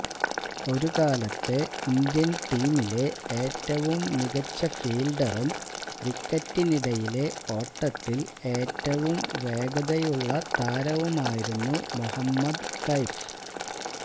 ഒരു കാലത്തെ ഇന്ത്യൻ ടീമിലെ ഏറ്റവും മികച്ച ഫീൽഡറും വിക്കറ്റിനിടയിലെ ഓട്ടത്തിൽ ഏറ്റവും വേഗതയുള്ള താരവുമായിരുന്നു മൊഹമ്മദ് കൈഫ്